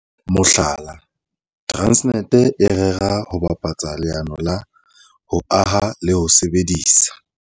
Mohlala, Transnet e rera ho bapatsa leano la ho aha le ho sebedisa